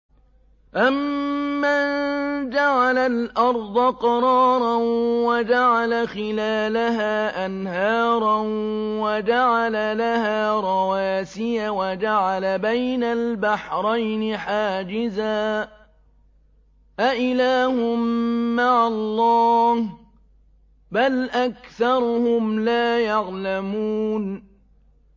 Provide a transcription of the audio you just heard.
أَمَّن جَعَلَ الْأَرْضَ قَرَارًا وَجَعَلَ خِلَالَهَا أَنْهَارًا وَجَعَلَ لَهَا رَوَاسِيَ وَجَعَلَ بَيْنَ الْبَحْرَيْنِ حَاجِزًا ۗ أَإِلَٰهٌ مَّعَ اللَّهِ ۚ بَلْ أَكْثَرُهُمْ لَا يَعْلَمُونَ